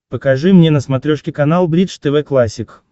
покажи мне на смотрешке канал бридж тв классик